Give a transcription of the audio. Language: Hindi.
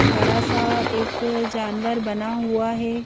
बड़ा सा एक जानवर बना हुआ है।